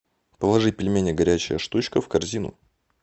положи пельмени горячая штучка в корзину